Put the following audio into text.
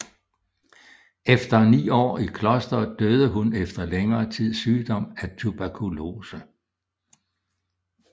Efter ni år i klosteret døde hun efter længere tids sygdom af tuberkulose